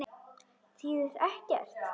Þýðir ekkert.